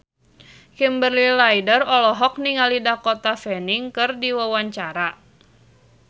Kimberly Ryder olohok ningali Dakota Fanning keur diwawancara